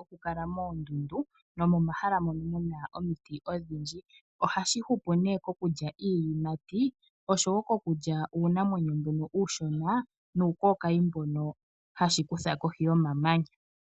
oku kala unene moo ndundu no mo mahala mono muna omiti odhindji. Ohashi hupu nee okudja iiyimati, osho wo koku dja uunamwenyo mbono uushona nuu kookayi mbono hashi kutha kohi yomamanya.